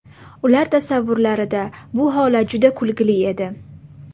Ular tasavvurlarida bu holat juda kulgili edi.